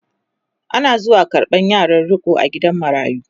Ana zuwa karɓan yaran riko a gidan marayu